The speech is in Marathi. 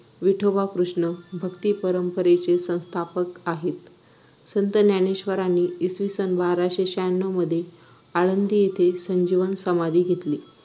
विठोबा कृष्ण भक्ती परंपरेचे संस्थापक आहेत संत ज्ञानेश्वरांनी इसविसन बाराशे शहाण्णव मध्ये आळंदी येथे संजीवन समाधी घेतली